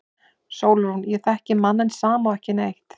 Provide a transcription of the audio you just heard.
SÓLRÚN: Ég þekki manninn sama og ekki neitt.